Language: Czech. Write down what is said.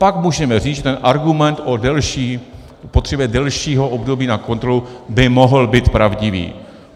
Pak můžeme říct, že ten argument o potřebě delšího období na kontrolu by mohl být pravdivý.